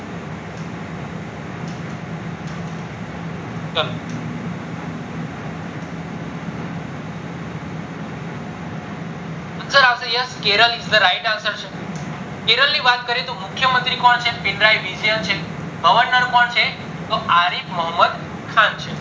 answer આવશે Kerala yes kerela is the right answer આવશે કેરલા ની વાત કરીએ તો મુખ્ય મંત્રી કોણ છે પીન્રાય governor કોણ છે તો આરીફ મોહમદ છે